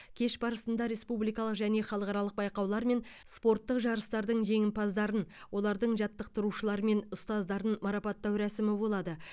кеш барысында республикалық және халықаралық байқаулар мен спорттық жарыстардың жеңімпаздарын олардың жаттықтырушылары мен ұстаздарын марапаттау рәсімі болады